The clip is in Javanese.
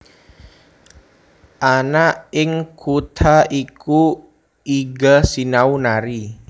Ana ing kutha iku Iga sinau nari